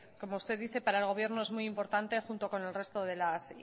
como usted dice para el gobierno es muy importante junto con el resto de las